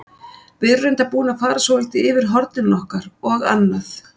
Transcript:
Við erum reyndar búin að fara svolítið yfir hornin okkar og annað.